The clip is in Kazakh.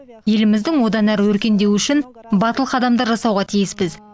еліміздің одан әрі өркендеуі үшін батыл қадамдар жасауға тиіспіз